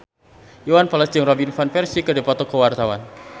Iwan Fals jeung Robin Van Persie keur dipoto ku wartawan